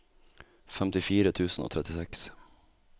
femtifire tusen og trettiseks